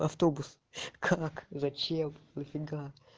автобус как зачем нафига